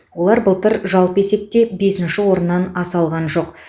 олар былтыр жалпы есепте бесінші орыннан аса алған жоқ